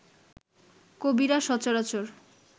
কবিরা সচরাচর